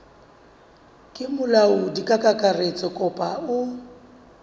ke molaodi kakaretso kapa o